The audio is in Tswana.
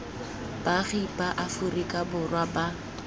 baagi ba aferika borwa ba